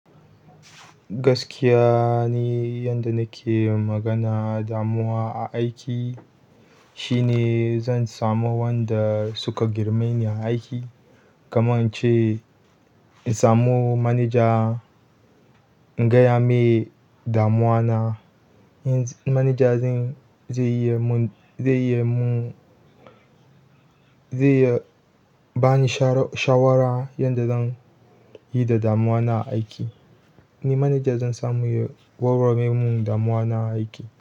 Gaskiya ni yanda nake magana damuwa a aiki shine zan samu wanda suka girme ni a aiki, kamar ce in samu manaja in gaya mai damuwa na, manaja zai iya mun, zai iya mu-- zai ba ni sharaw- shawara yanda zan yi da damuwa na a aiki. Ni manaja zan samu ya warware mun damuwa na a aiki.